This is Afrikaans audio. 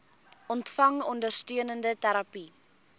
ontvang ondersteunende terapie